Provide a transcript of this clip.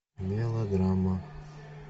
мелодрама